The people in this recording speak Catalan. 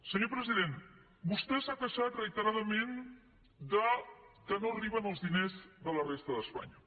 senyor president vostè s’ha queixat reiteradament que no arriben els diners de la resta d’espanya